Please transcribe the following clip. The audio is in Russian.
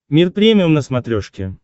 мир премиум на смотрешке